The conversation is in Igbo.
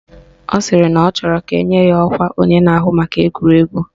Ọ sịrị na ọ chọrọ ka enye ya ọkwa onye na-ahụ maka egwuregwu